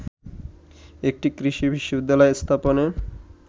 একটি কৃষি বিশ্ববিদ্যালয় স্থাপনে